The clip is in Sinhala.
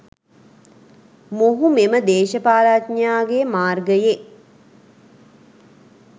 මොහු මෙම දේශපාලනඥයාගේ මාර්ගයෙ